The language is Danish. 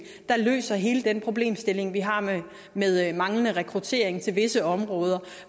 der løser hele den problemstilling vi har med manglende rekruttering til visse områder